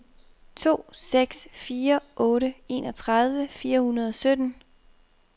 to seks fire otte enogtredive fire hundrede og sytten